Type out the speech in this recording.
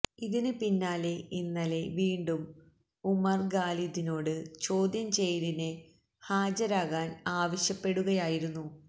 ഇതിന് പിന്നാലെ ഇന്നലെ വീണ്ടും ഉമർ ഖാലിദിനോട് ചോദ്യം ചെയ്യലിന് ഹാജരാകാൻ ആവശ്യപ്പെടുകയായിരുന്നു